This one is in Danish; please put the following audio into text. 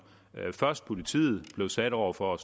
først politiet blev stillet over for